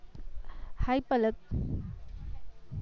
hi Palak